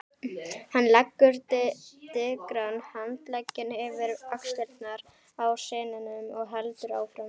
Hann leggur digran handlegginn yfir axlirnar á syninum og heldur áfram